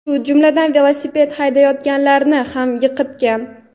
shu jumladan velosiped haydayotganlarni ham yiqitgan.